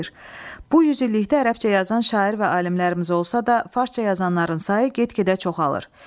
Bu 100 illikdə ərəbcə yazan şair və alimlərimiz olsa da, farsça yazanların sayı get-gedə çoxalır.